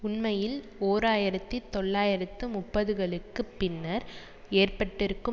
உண்மையில் ஓர் ஆயிரத்தி தொள்ளாயிரத்து முப்பதுகளுக்கு பின்னர் ஏற்பட்டிருக்கும்